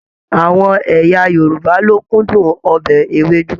Àwọn ẹ̀yà Yorùbá lo kúndùn ọbẹ Ewédú.